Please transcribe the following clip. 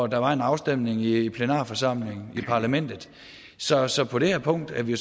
der var en afstemning i plenarforsamlingen i parlamentet så så på det her punkt er vi